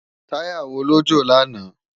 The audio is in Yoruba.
Tàyá wó ló jó làná?